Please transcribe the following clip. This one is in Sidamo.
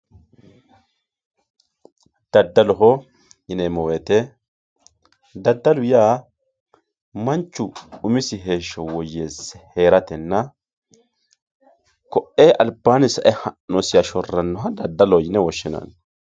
daddaloho yineemmo woyte daddalu yaa manchu umisi heeshsho woyyeese heeratenna koe albaanni sae ha'nosiha shorrannoha daddaloho yinanni